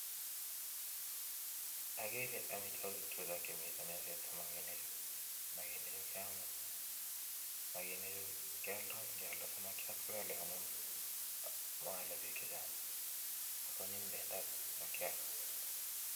Agereee amitwagiik chutok chemitei meet damaging chuu komitei meset sigobit koal piik